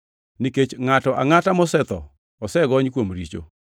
nikech ngʼato angʼata mosetho osegony kuom richo.